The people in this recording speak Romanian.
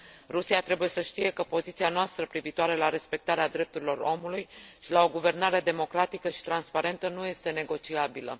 Rusia trebuie să știe că poziția noastră cu privire la respectarea drepturilor omului și la o guvernare democratică și transparentă nu este negociabilă.